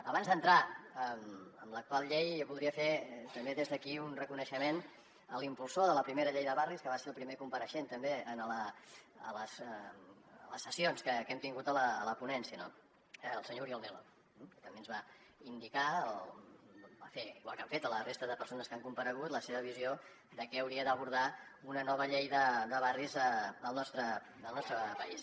abans d’entrar en l’actual llei jo voldria fer també des d’aquí un reconeixement a l’impulsor de la primera llei de barris que va ser el primer compareixent també a les sessions que hem tingut a la ponència el senyor oriol nel·lo que també ens va indicar igual que han fet la resta de persones que han comparegut la seva visió de què hauria d’abordar una nova llei de barris al nostre país